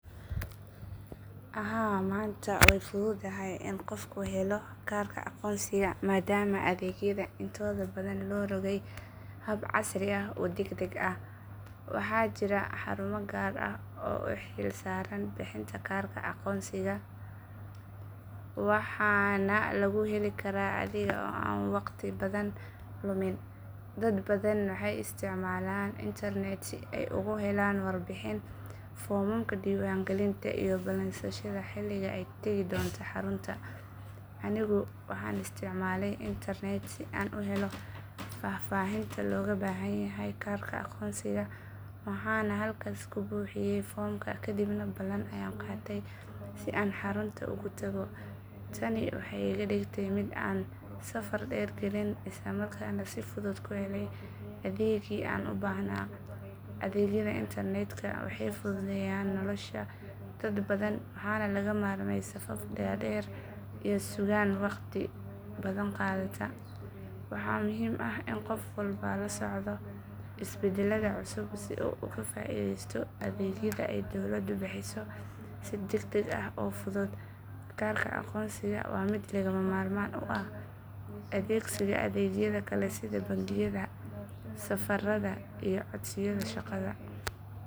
Haa maanta way fududahay in qofku helo kaarka aqoonsiga maadaama adeegyada intooda badan loo rogay hab casri ah oo degdeg ah. Waxaa jira xarumo gaar ah oo u xilsaaran bixinta kaarka aqoonsiga waxaana lagu heli karaa adiga oo aan waqtiga badan lumin. Dad badan waxay isticmaalaan internet si ay uga helaan warbixin, foomamka diiwaangelinta iyo ballansashada xilliga ay tegi doonaan xarunta. Anigu waxaan isticmaalay internet si aan u helo faahfaahinta looga baahan yahay kaarka aqoonsiga waxaana halkaas ka buuxiyay foomka kadibna ballan ayaan qaatay si aan xarunta ugu tago. Tani waxay iga dhigtay mid aan saf dheer galin isla markaana si fudud ku helay adeeggii aan u baahnaa. Adeegyada internetka waxay fududeeyeen nolosha dad badan waxaana laga maarmay safaf dhaadheer iyo sugaan waqti badan qaadata. Waxaa muhiim ah in qof walba la socdo isbeddelada cusub si uu ugu faa’iideysto adeegyada ay dowladdu bixiso si degdeg ah oo fudud. Kaarka aqoonsiga waa mid lagama maarmaan u ah adeegsiga adeegyada kale sida bangiyada, safarada iyo codsiyada shaqada.